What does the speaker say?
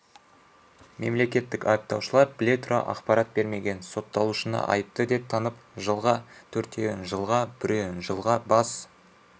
мемлекеттік айыптаушылар біле тұра ақпарат бермеген сотталушыны айыпты деп танып жылға төртеуін жылға біреуін жылға бас